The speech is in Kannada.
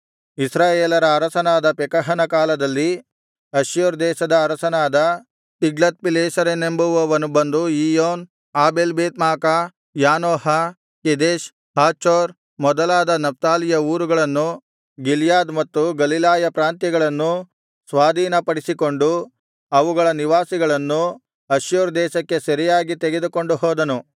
ಇಸ್ರಾಯೇಲರ ಅರಸನಾದ ಪೆಕಹನ ಕಾಲದಲ್ಲಿ ಅಶ್ಶೂರ್ ದೇಶದ ಅರಸನಾದ ತಿಗ್ಲತ್ಪಿಲೆಸೆರನೆಂಬುವವನು ಬಂದು ಇಯ್ಯೋನ್ ಆಬೇಲ್ಬೇತ್ಮಾಕಾ ಯಾನೋಹ ಕೆದೆಷ್ ಹಾಚೋರ್ ಮೊದಲಾದ ನಫ್ತಾಲಿಯ ಊರುಗಳನ್ನು ಗಿಲ್ಯಾದ್ ಮತ್ತು ಗಲಿಲಾಯ ಪ್ರಾಂತ್ಯಗಳನ್ನೂ ಸ್ವಾಧೀನಪಡಿಸಿಕೊಂಡು ಅವುಗಳ ನಿವಾಸಿಗಳನ್ನು ಅಶ್ಶೂರ್ ದೇಶಕ್ಕೆ ಸೆರೆಯಾಗಿ ತೆಗೆದುಕೊಂಡು ಹೋದನು